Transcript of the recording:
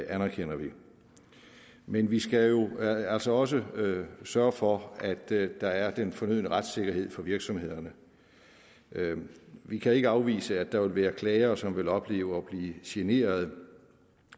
anerkender vi men vi skal jo også også sørge for at der er den fornødne retssikkerhed for virksomhederne vi kan ikke afvise at der vil være klagere som vil opleve at blive generet